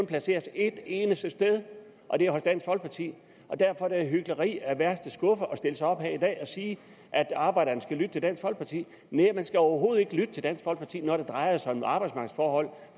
placeres et eneste sted og det er hos dansk folkeparti og derfor er det hykleri af værste skuffe at stille sig op her i dag og sige at arbejderne skal lytte til dansk folkeparti næh man skal overhovedet ikke lytte til dansk folkeparti når det drejer sig om arbejdsmarkedsforhold